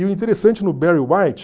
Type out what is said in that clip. E o interessante no Barry White...